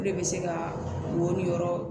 Olu de bɛ se ka wo ni yɔrɔ